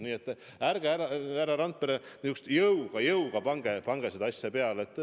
Nii et ärge, härra Randpere, jõuga pange seda asja peale.